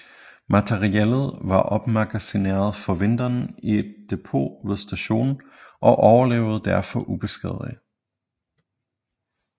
Materiellet var opmagasineret for vinteren i et depot ved stationen og overlevede derfor ubeskadigede